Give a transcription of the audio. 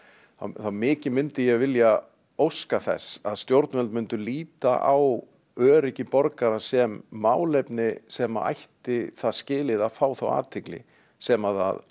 þá mikið myndi ég vilja óska þess að stjórnvöld myndu líta á öryggi borgara sem málefni sem að ætti það skilið að fá þá athygli sem að